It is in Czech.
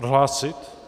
Odhlásit?